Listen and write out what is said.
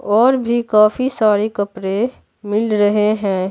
और भी काफी सारे कपड़े मिल रहे हैं।